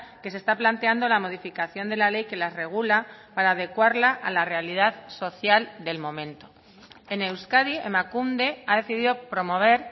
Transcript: que se está planteando la modificación de la ley que las regula para adecuarla a la realidad social del momento en euskadi emakunde ha decidido promover